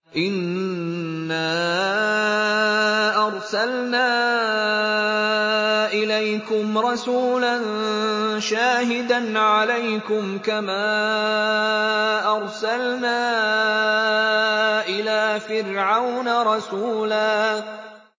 إِنَّا أَرْسَلْنَا إِلَيْكُمْ رَسُولًا شَاهِدًا عَلَيْكُمْ كَمَا أَرْسَلْنَا إِلَىٰ فِرْعَوْنَ رَسُولًا